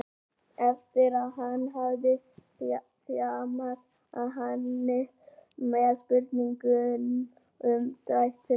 eftir að hann hafði þjarmað að henni með spurningum um dætur hennar.